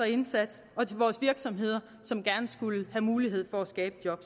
indsats og til vores virksomheder som gerne skulle have mulighed for at skabe job